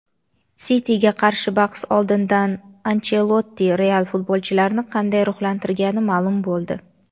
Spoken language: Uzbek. "Siti"ga qarshi bahs oldidan Anchelotti "Real" futbolchilarini qanday ruhlantirgani ma’lum bo‘ldi.